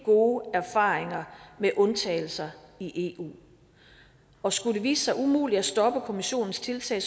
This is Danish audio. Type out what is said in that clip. gode erfaringer med undtagelser i eu og skulle det vise sig umuligt at stoppe kommissionens tiltag